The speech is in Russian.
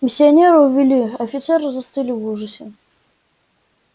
миссионера увели офицеры застыли в ужасе